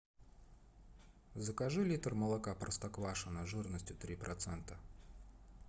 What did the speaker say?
закажи литр молока простоквашино жирностью три процента